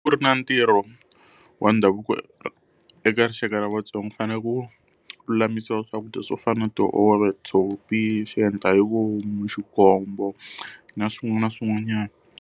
Ku ri na ntirho wa ndhavuko eka rixaka ra vaTsonga u fanele ku lulamisiwa swakudya swo fana na tihove, tshopi, xiendlahivomu, xikombo na swin'wana na swin'wanyana.